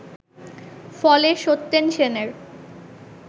ফলে সত্যেন সেনের